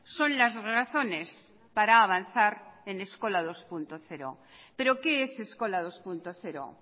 son las razones para avanzar en eskola dos punto cero pero qué es eskola dos punto cero